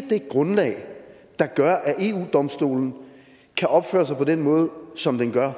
det grundlag der gør at eu domstolen kan opføre sig på den måde som den gør